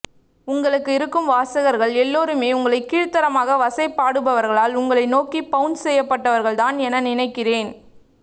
உங்களுக்கு இருக்கும் வாசகர்கள் எல்லாருமே உங்களை கீழ்த்தரமாக வசைபாடுபவர்களால் உங்களை நோக்கி பவுன்ஸ் செய்யப்பட்டவர்கள்தான் என நினைக்கிறேன்